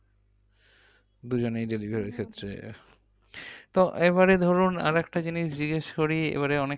দুজনেই delivery র ক্ষেত্রে। তো এবারে ধরুন আরেকটা জিনিস জিজ্ঞেস করি এবারে অনেক